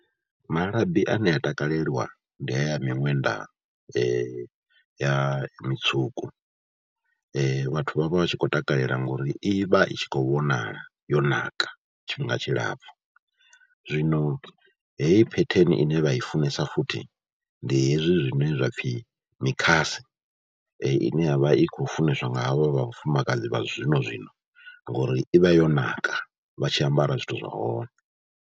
Malabi ane a takalelwa ndi haya a miṅwenda ya mutswuku vhathu vha vha vha tshi khou takalela ngauri i vha i tshi khou vhonala yo naka tshifhinga tshilapfhu, zwino heyi phetheni ine vha i funesa futhi ndi hezwi zwine zwa pfhi mikhase ine ya vha i khou funeswa nga havha vha vhafumakadzi vha zwinozwino ngori i vha yo ṋaka vha tshi ambara zwithu zwa hone.